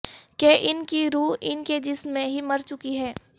کہ ان کی روح ان کے جسم میں ہی مرچکی ہے